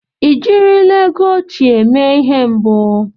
Ị jirila ego óchiè mee ihe mbụ?